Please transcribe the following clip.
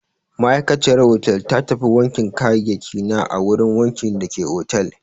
Ma'aikaciyar hotel ta tafi wankin kayayyakina a wurin wankin dake otal.